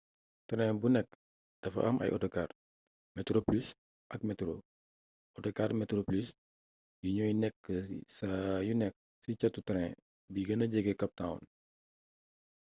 train bu ci nekk dafa am ay autocar metroplus ak metro autocar metroplus yi ñooy nekk saa yu nekk ci catu train bi gëna jege cap town